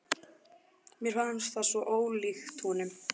Mér fannst það svo ólíkt honum.